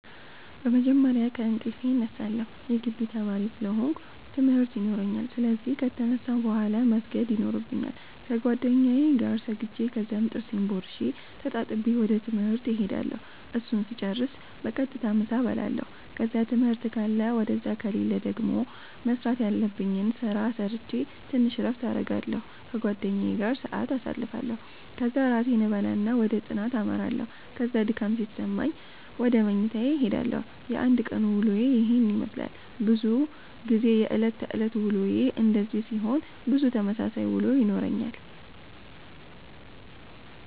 በመጀመርያ ከእንቅልፌ እነሳለሁ የጊቢ ተማሪ ስለ ሆነኩ ትምርት የኖራኛል ስለዚህ ከተነሳሁ ቡሃላ መስገድ የኖርብኛል ከጌደኛዬ ጋር ሰግጄ ከዛም ጥርሴን ቦርሼ ተጣጥቤ ወደ ትምህርት እሄዳለሁ እሱን ስጨርስ በቀጥታ ምሳ እበላለሁ ከዛ ትምህርት ካለ ውደዛ ከሌለ ደገሞ መስራተ ያለብኝን ስራ ሰረቼ ተንሽ እረፍት አረጋለሁ ከጓደኛዬ ጋር ሰአት ኣሳልፋለሁ ከዛ እራቴን እበላና ወደ ጥናተ አመራለሁ ከዛ ድካም ሲሰማኝ ውደ መኝታዬ እሄዳለሁ። የአንድ ቀን ዉሎዬ የሄን የመስላል። በዙ ጊዜ የእለት ተእለት ዉሎዬ እንደዚህ ሲሆን ብዙ ተመሳሳይ ዉሎ ይኖረኛል።